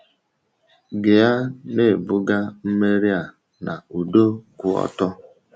Gịa na-ebuga mmegharị a na ụdọ kwụ ọtọ.